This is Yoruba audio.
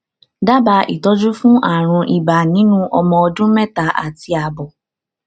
dábàá ìtọjú fún àrùn ibà nínú ọmọ ọdún mẹta àti àbọ